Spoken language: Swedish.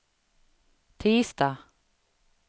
tisdag